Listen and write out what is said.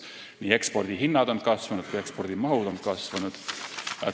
Nii ekspordihinnad kui ka -mahud on kasvanud.